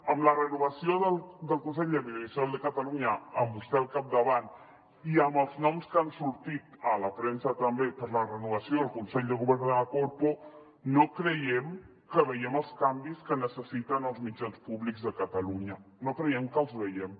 amb la renovació del consell de l’audiovisual de catalunya amb vostè al capdavant i amb els noms que han sortit a la premsa també per a la renovació del consell de govern de la corpo no creiem que vegem els canvis que necessiten els mitjans públics de catalunya no creiem que els vegem